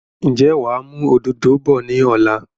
Ǹjẹ́ wàá mú òdòdó bọ̀ ni ọ̀la?